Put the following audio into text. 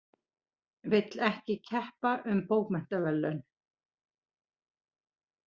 Vill ekki keppa um bókmenntaverðlaun